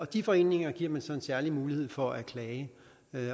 de foreninger giver man så en særlig mulighed for at klage